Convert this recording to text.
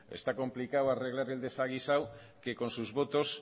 está complicado arreglar el desaguisado que con sus votos